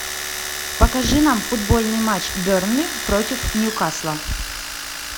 покажи нам футбольный матч бернли против ньюкасла